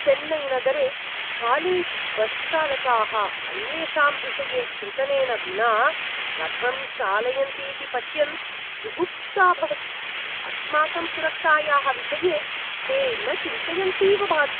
चेन्नैनगरे कालेज्बस्चालकाः अन्येषां विषये चिन्तनेन विना कथं चालयन्तीति पश्यन् जुगुप्सा भवति, अस्माकं सुरक्षायाः विषये ते न चिन्तयन्तीव भाति।